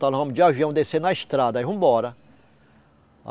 Nós vamos de avião descer na estrada, aí vamos embora.